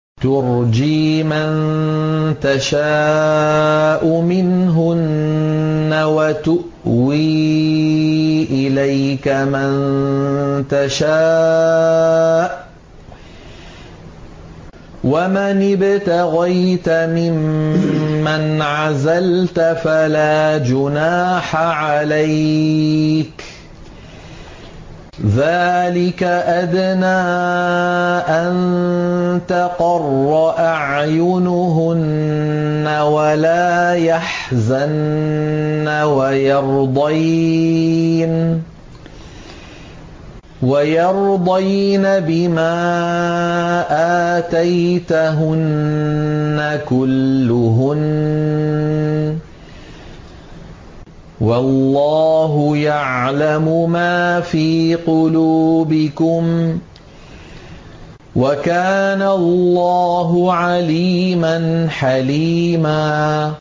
۞ تُرْجِي مَن تَشَاءُ مِنْهُنَّ وَتُؤْوِي إِلَيْكَ مَن تَشَاءُ ۖ وَمَنِ ابْتَغَيْتَ مِمَّنْ عَزَلْتَ فَلَا جُنَاحَ عَلَيْكَ ۚ ذَٰلِكَ أَدْنَىٰ أَن تَقَرَّ أَعْيُنُهُنَّ وَلَا يَحْزَنَّ وَيَرْضَيْنَ بِمَا آتَيْتَهُنَّ كُلُّهُنَّ ۚ وَاللَّهُ يَعْلَمُ مَا فِي قُلُوبِكُمْ ۚ وَكَانَ اللَّهُ عَلِيمًا حَلِيمًا